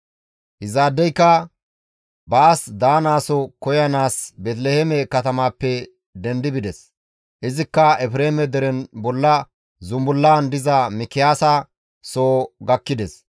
Izaadeyka baas daanaso koyanaas Beeteliheeme katamappe dendi bides; izikka Efreeme deren bolla zunbullaan diza Mikiyaasa soo gakkides.